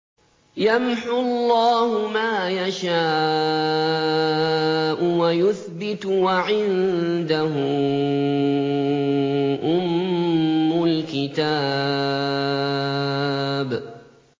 يَمْحُو اللَّهُ مَا يَشَاءُ وَيُثْبِتُ ۖ وَعِندَهُ أُمُّ الْكِتَابِ